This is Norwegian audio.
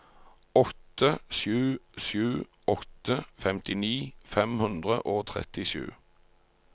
åtte sju sju åtte femtini fem hundre og trettisju